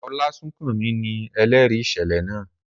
Olasunkanmi ni ẹlẹri iṣẹlẹ naa.